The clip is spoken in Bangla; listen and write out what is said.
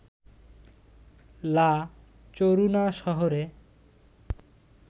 লা চরুনা শহরে